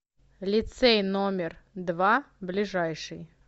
лицей номер два ближайший